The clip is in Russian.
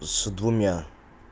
с двумя